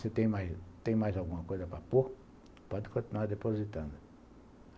Se tem mais alguma coisa para pôr, pode continuar depositando.